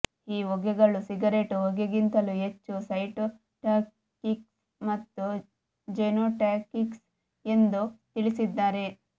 ಈ ಹೊಗೆಗಳು ಸಿಗರೆಟ್ ಹೊಗೆಗಿಂತಲೂ ಹೆಚ್ಚು ಸೈಟೋಟಾಕ್ಸಿಕ್ ಮತ್ತು ಜೆನೋಟಾಕ್ಸಿಕ್ ಎಂದು ತಿಳಿಸಿದ್ದಾರೆ